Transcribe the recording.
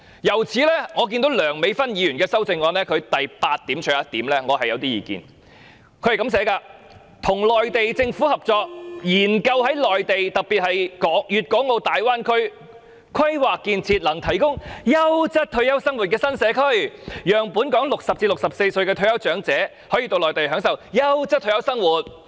因此，我對於梁美芬議員的修正案的第八點有點意見，內容是"與內地政府合作，研究在內地特別是粵港澳大灣區，規劃建設能提供優閒退休生活的新社區，讓本港60歲至64歲的退休長者到內地享受優質退休生活。